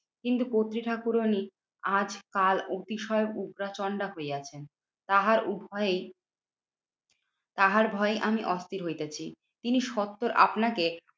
কিন্তু কর্ত্রী ঠাকুরানী আজ কাল অতিশয় উগ্রচণ্ডা হইয়াছেন। তাহার উভয়েই তাহার ভয়ে আমি অস্থির হইতাছি। তিনি সত্তর আপনাকে